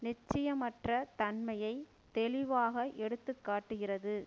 நிச்சயமற்ற தன்மையை தெளிவாக எடுத்து காட்டுகிறது